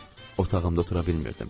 Otağımda otura bilmirdim.